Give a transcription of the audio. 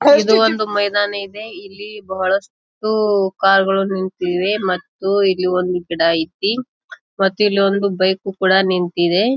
ಇದು ಒಂದು ಮೈದಾನ ಇದೆ ಇಲ್ಲಿ ಬಹಳಷ್ಟು ಕಾರ್ ಗಳು ನಿಂತಿವೆ ಮತ್ತು ಇಲ್ಲಿ ಒಂದು ಗಿಡ ಐತಿ ಮತ್ತು ಇಲೊಂದು ಬೈಕ್ ಕೂಡ ನಿಂತ್ತಿದೆ.